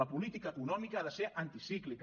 la política econòmica ha de ser anticíclica